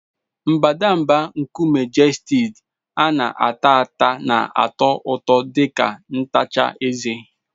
Mbadamba nkume Gestid a na-ata ata na-atọ ụtọ dị ka ntacha eze.